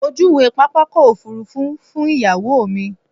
Mo júwe pápákọ̀ òfurufú fún ìyàwó mi.